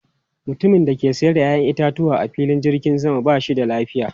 Mutumin da ke sayar da 'ya'yan itatuwa a filin jirgin sama ba shi da lafiya.